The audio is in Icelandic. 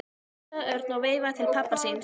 flissaði Örn og veifaði til pabba síns.